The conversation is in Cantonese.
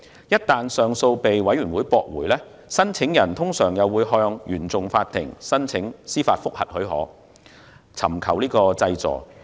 一旦上訴申請被上訴委員會駁回，申請人通常會向原訟法庭申請司法覆核許可，以尋求濟助。